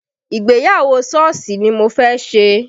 Ìgbéyàwó Sọ́ọ̀sì ni mo fẹ́ ṣe